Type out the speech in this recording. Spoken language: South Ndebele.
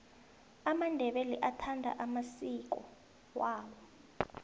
amandebele athanda amasiki awo